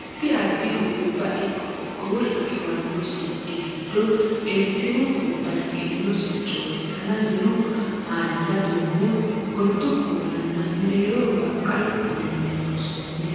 addi addihu gobba ikko qoqqowo riqiwanno sicci giddo eertiru goabba riqiwino siccooti danasino haanja duumo gordu kuulanna mereeroho baqqalu kuulinni loonsoonniho